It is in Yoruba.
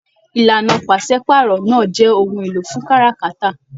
Ìlànà pàsepàárọ̀ náà jẹ ohùn èlò fún káràkátà.